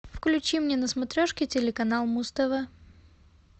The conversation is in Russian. включи мне на смотрешке телеканал муз тв